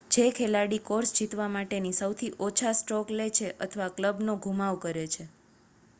જે ખેલાડી કોર્સ જીતવા માટે સૌથી ઓછા સ્ટ્રોક લે છે અથવા ક્લબનો ધુમાવ કરે છે